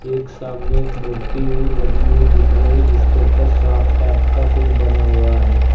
एक सामने एक मूर्ति हुई लगी हुई दिख रही जिसके ऊपर सांप टाइप का कुछ बना हुआ है।